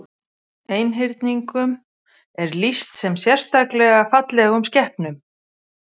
Einhyrningum er lýst sem sérstaklega fallegum skepnum.